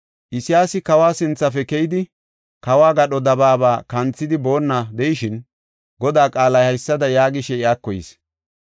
Isayaasi kawa sinthafe keyidi, kawo gadho dabaaba kanthidi boonna de7ishin, Godaa qaalay haysada yaagishe iyako yis.